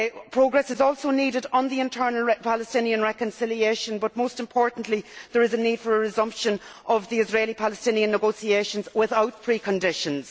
Progress is also needed on internal Palestinian reconciliation but, most importantly, there is a need for the resumption of the Israeli Palestinian negotiations without pre conditions.